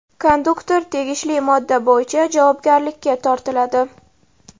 Konduktor tegishli modda bo‘yicha javobgarlikka tortiladi.